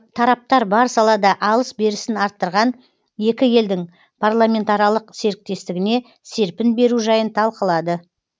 тараптар бар салада алыс берісін арттырған екі елдің парламентаралық серіктестігіне серпін беру жайын талқылады